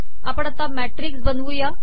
आपण आता मॅिटकस बनवूया